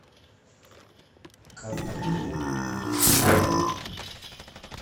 как пополнить номер телефона